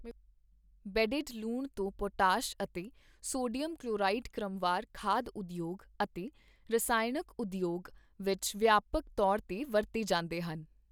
Bedded ਲੂਣ ਤੋਂ potash ਅਤੇ ਸੋਡੀਅਮ ਕਲਵੋਰਾਈਡ ਕ੍ਰਮਵਾਰ ਖਾਦ ਉਦਯੋਗ ਅਤੇ ਰਸਾਇਣਕ ਉਦਯੋਗ ਵਿੱਚ ਵਿਆਪਕ ਤੌਰ ਤੇ ਵਰਤੇ ਜਾਂਦੇ ਹਨ।